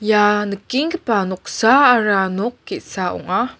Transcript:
ia nikenggipa noksaara nok ge·sa ong·a.